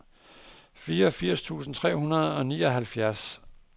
femogfirs tusind tre hundrede og nioghalvfjerds